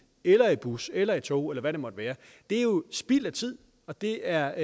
eller i bus eller i tog eller i hvad det måtte være er jo spild af tid og det er